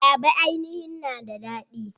Ayaba ainihin na da daɗi.